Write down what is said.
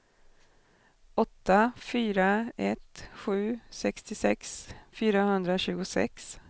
åtta fyra ett sju sextiosex fyrahundratjugosex